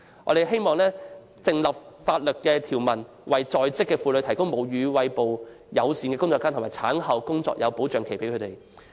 我們希望訂立法例，為在職婦女提供便利母乳餵哺的工作間和產後工作保障期。